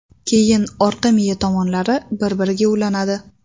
Keyin orqa miya tomonlari bir-biriga ulanadi.